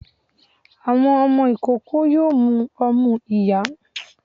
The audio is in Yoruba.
Àwọn ọmọ ikoko yoo mù omú iyá